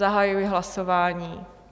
Zahajuji hlasování.